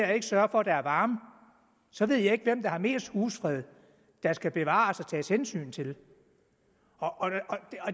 at sørge for at der er varme så ved jeg ikke hvem der har mest husfred der skal bevares og tages hensyn til